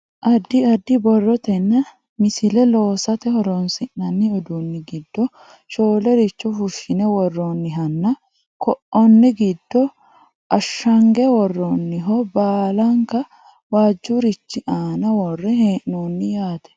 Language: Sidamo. addi addi borrotenna misile loosate horonsi'nanni uduunni giddo shoolericho fushshine worroonihanna ko'onne giddo ashshange worrooniho balanka waajjurichi aana worre hee'noonni yaate